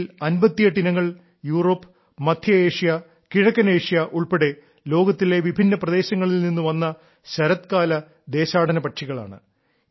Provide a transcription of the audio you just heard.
ഇവയിൽ 58 ഇനങ്ങൾ യൂറോപ്പ് മദ്ധ്യ ഏഷ്യ കിഴക്കൻ ഏഷ്യ ഉൾപ്പെടെ ലോകത്തിലെ വിഭിന്ന പ്രദേശങ്ങളിൽ നിന്ന് വന്ന ശരത്കാല ദേശാടനപക്ഷികളാണ്